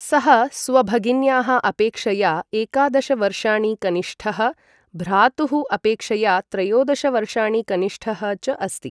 सः स्वभगिन्याः अपेक्षया एकादश वर्षाणि कनिष्ठः, भ्रातुः अपेक्षया त्रयोदश वर्षाणि कनिष्ठः च अस्ति।